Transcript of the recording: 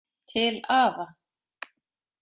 Til afa.